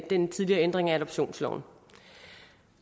den tidligere ændring af adoptionsloven